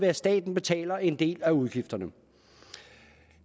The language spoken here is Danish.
at staten betaler en del af udgifterne